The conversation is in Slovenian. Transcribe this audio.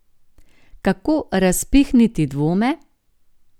Kako razpihniti dvome?